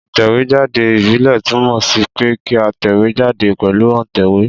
Ìtẹ̀wé jáde ìbílè túnmò sí pe kí a tẹ̀wé jáde pèlu òntẹ̀wé